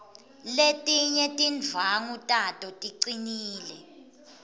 letinye tindvwangu tato ticinile